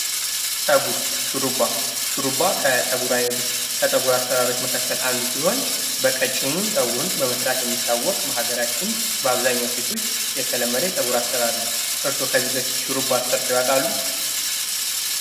ፀጉር ሹሩባ ሹሩባ ከፀጉር አሰራሮች መካከል አንዱ ሲሆን በቀጭኑ ፀጉሩን በመስራት የሚታወቅ በሀገራችን በአብዛኛው ሴቶች የተለመደ የፀጉር አሰራር ነው። እርስዎ ከዚህ በፊት ሽሩባ ተሠርተው ያውቃሉ?